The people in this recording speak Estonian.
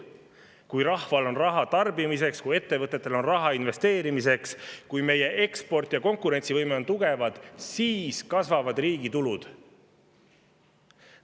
Kui rahval on raha tarbimiseks, kui ettevõtetel on raha investeerimiseks, kui meie eksport ja konkurentsivõime on tugevad, siis kasvavad riigi tulud.